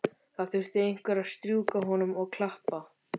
Það þurfti einhver að strjúka honum og klappa.